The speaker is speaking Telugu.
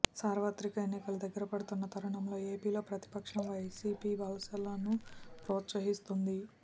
సార్వత్రిక ఎన్నికలు దగ్గరపడుతున్న తరుణంలో ఏపీలో ప్రతిపక్షం వైసీపీ వలసలను ప్రోత్సాహిస్తోంది